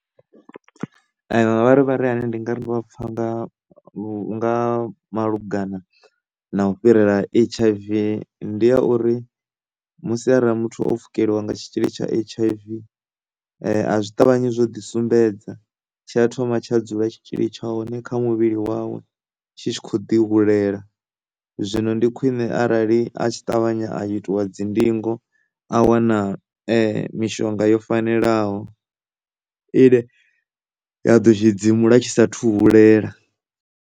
Mavharivhari ane ndi nga ri ndo a pfha nga malugana na u fhirela ha H_I_V ndi a uri musi arali muthu o pfhukeliwa nga tshitzhili tsha H_I_V a zwi ṱavhanyi zwo ḓi sumbedza tshi a thoma tsha dzula tshitzhili tsha hone kha muvhili wawe tshi tshi kho ḓi hulela, zwino ndi khwine arali a tshi ṱavhanya a itiwa dzindingo a wana mishonga yo fanelaho ine ya ḓo tshi dzimula tshi sathu hulela.